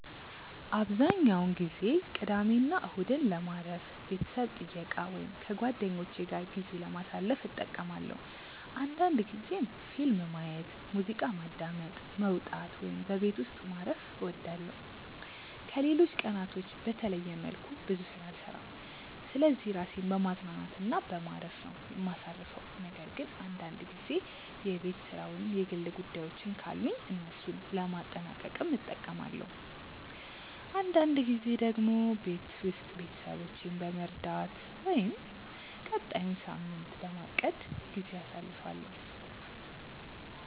አብዛኛውን ጊዜ ቅዳሜና እሁድን ለማረፍ፣ ቤተሰብ ጥየቃ ወይም ከጓደኞቼ ጋር ጊዜ ለማሳለፍ እጠቀማለሁ አንዳንድ ጊዜም ፊልም ማየት፣ ሙዚቃ ማዳመጥ፣ መውጣት ወይም በቤት ውስጥ ማረፍ እወዳለሁ። ከሌሎች ቀናቶች በተለየ መልኩ ብዙ ስራ አልሰራም ስለዚህ ራሴን በማዝናናት እና በማረፍ ነው ማሳርፈው ነገር ግን አንዳንድ ጊዜ የቤት ስራ ወይም የግል ጉዳዮችን ካሉኝ እነሱን ለማጠናቀቅም እጠቀማለሁ። አንዳንድ ጊዜ ደግሞ ቤት ውስጥ ቤተሰቦቼን በመርዳት ወይም ቀጣዩን ሳምንት በማቀድ ጊዜ አሳልፋለሁ።